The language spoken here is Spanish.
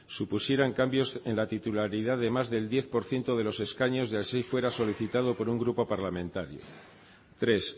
supusieran cambio en la titularidad de más del diez por ciento de los escaños y así fuera solicitado por un grupo parlamentario tres